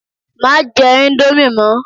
Má jẹ íńdómì mọ!